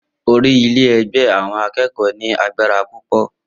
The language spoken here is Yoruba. Orí ile-igbe awon akeko ní agbára púpọ̀.